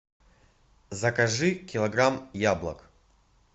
закажи килограмм яблок